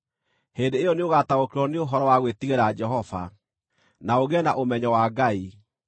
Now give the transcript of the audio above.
hĩndĩ ĩyo nĩũgataũkĩrwo nĩ ũhoro wa gwĩtigĩra Jehova, na ũgĩe na ũmenyo wa Ngai.